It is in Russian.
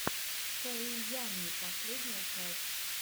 соу ямми последняя часть